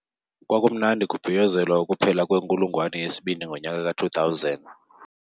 Kwakumnandi kubhiyozelwa ukuphela kwenkulungwane yesibini ngonyaka ka-2000.